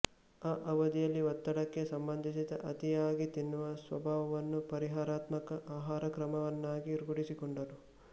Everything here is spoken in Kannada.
ಆ ಅವಧಿಯಲ್ಲಿ ಒತ್ತಡಕ್ಕೆ ಸಂಬಂಧಿಸಿದ ಅತಿಯಾಗಿ ತಿನ್ನುವ ಸ್ವಭಾವವನ್ನು ಪರಿಹಾರಾತ್ಮಕ ಆಹಾರಕ್ರಮವನ್ನಾಗಿ ರೂಢಿಸಿಕೊಂಡರು